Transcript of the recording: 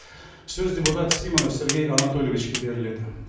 сөз депутат симонов сергей анатольевичке беріледі